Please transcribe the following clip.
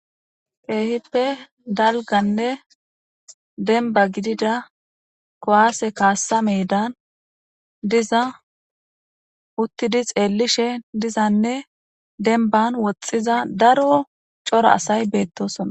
Kehippe dalgganne dembba gidida kuwasse kassa medan dizza uttidi xelishshe dizzanne dembban woxizza daro coora assay bethossona.